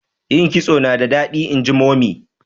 yin kitso nada dadi inji mummy